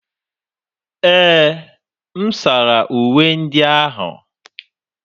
Ee, m sara uwe ndị ahụ.